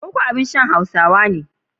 Koko abin shan Hausawa ne.